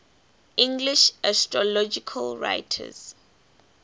english astrological writers